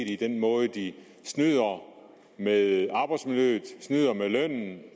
i den måde de snyder med arbejdsmiljøet snyder med lønnen